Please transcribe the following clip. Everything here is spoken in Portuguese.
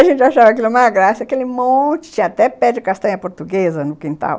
A gente achava aquilo uma graça, aquele monte, tinha até pé de castanha portuguesa no quintal.